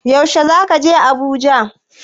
Yaushe zaka je Abuja?